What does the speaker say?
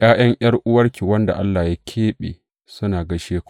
’Ya’yan ’yar’uwarki wadda Allah ya keɓe, suna gaishe ku.